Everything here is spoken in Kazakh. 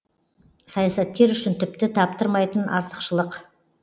саясаткер үшін тіпті таптырмайтын артықшылық